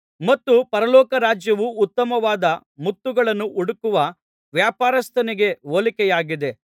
ಮತ್ತು ಪರಲೋಕ ರಾಜ್ಯವು ಉತ್ತಮವಾದ ಮುತ್ತುಗಳನ್ನು ಹುಡುಕುವ ವ್ಯಾಪಾರಸ್ಥನಿಗೆ ಹೋಲಿಕೆಯಾಗಿದೆ